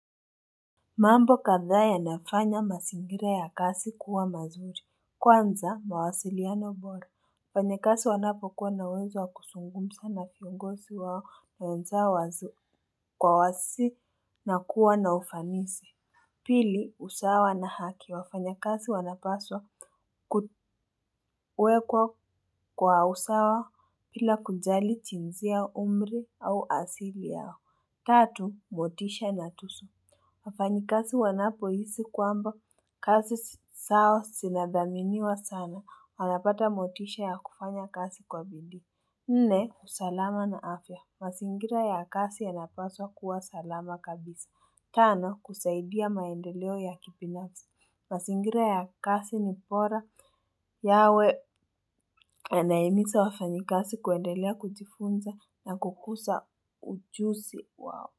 Mambo kadhaa yanafanya mazingira ya kazi kuwa mazuri. Kwanza mawasiliano bora. Wafanyakazi wanapokuwa na uwezo wa kusungumza na viongozi wao. Mayonza wasi kwa wasi na kuwa na ufanisi. Pili usawa na haki. Wafanyakazi wanapaswa kuwekwa kwa usawa bila kujali jinsia umri au asili yao. Tatu, motisha na tusu. Wafanyikazi wanapohisi kwamba kazi zao zinathaminiwa sana. Wanapata motisha ya kufanya kazi kwa bidii. Nne, usalama na afya. Mazingira ya kazi yanapaswa kuwa salama kabisa. Tano, kusaidia maendeleo ya kibinafsi. Mazingira ya kazi ni bora yawe nahimiza wafanyikazi kuendelea kujifunza na kukuza ujuzi wao.